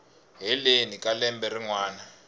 heleni ka lembe rin wana